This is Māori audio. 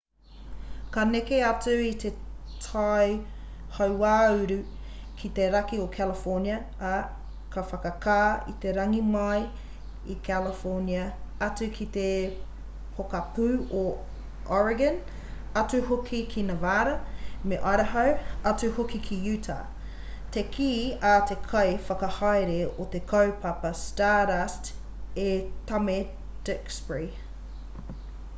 ka neke atu i te tai hauāuru i te raki o california ā ka whakakā i te rangi mai i california atu ki te pokapū o oregon atu hoki ki nevada me idaho atu hoki ki utah te kī a te kai whakahaere o te kaupapa stardust e tame duxbury